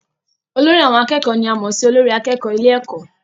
Olórí àwọn akẹ́kọ̀ọ́ ni a mọ̀ sí olórí akẹ́kọ̀ọ́ ilé ẹ̀kọ́